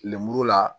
Lemuru la